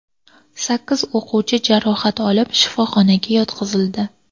Sakkiz o‘quvchi jarohat olib, shifoxonaga yotqizildi.